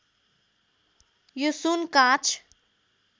यो सुन काँच